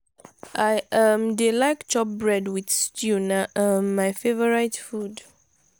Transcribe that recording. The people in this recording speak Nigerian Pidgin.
i um dey like chop bread wit stew na um my favourite food.